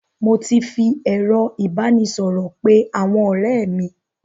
Mo ti ń fi ẹ̀rọ ìbánisọ̀rọ̀ pé àwọn ọ̀rẹ́ mi.